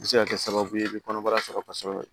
A bɛ se ka kɛ sababu ye i bɛ kɔnɔbara sɔrɔ kosɛbɛ